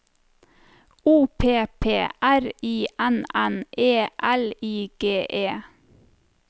O P P R I N N E L I G E